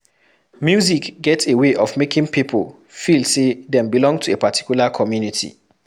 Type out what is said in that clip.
Music get a way of making pipo feel say dem belong to a particular community